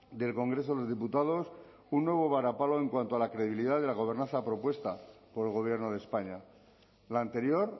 del congreso de los diputados un nuevo varapalo en cuanto a la credibilidad de la gobernanza propuesta por el gobierno de españa la anterior